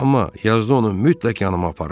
Amma yazda onu mütləq yanıma apararam.